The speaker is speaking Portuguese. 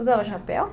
Usavam chapéu?